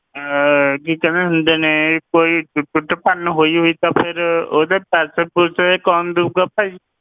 ਅਹ ਕੀ ਕਹਿੰਦੇ ਹੁੰਦੇ ਨੇ ਕੋਈ ਟੁੱਟ ਭੰਨ ਹੋਈ ਹੋਈ ਤਾਂ ਫਿਰ ਉਹਦੇ ਪੈਸੇ ਪੂਸੇ ਕੌਣ ਦਊਗਾ ਭਾਈ।